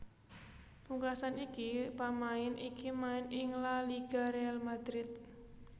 Pungkasan iki pamain iki main ing La Liga Real Madrid